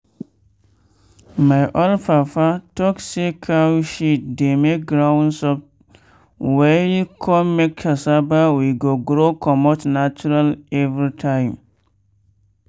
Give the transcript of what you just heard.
my old fafa talk say cow shit dey make ground soft well con make cassava wey go grow comot natural every time.